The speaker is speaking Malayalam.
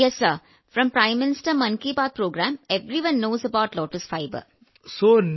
വിജയശാന്തി അതെ സർ പ്രധാനമന്ത്രി മൻ കി ബാത്ത് പരിപാടിയിൽ നിന്ന് എല്ലാവർക്കും താമര നാരിനെക്കുറിച്ച് അറിയാം